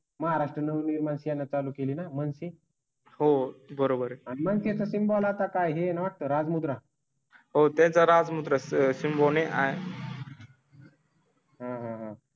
महाराष्ट्र नवनिर्माण सेना चालू केली ना मानसी. हो बरोबर. आहे मॅम ते तीन बोला काय हे नाटक राजमुद्रा. होते तर आज मद्रास सिम्बू ने. हां हां हां